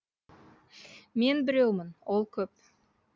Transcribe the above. мен біреумін ол көп